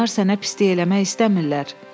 Onlar sənə pislik eləmək istəmirlər.